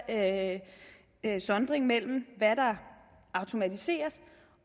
af den her sondring mellem hvad der automatiseres